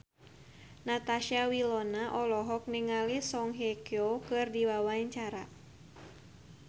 Natasha Wilona olohok ningali Song Hye Kyo keur diwawancara